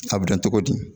A bɛ dɔn cogo di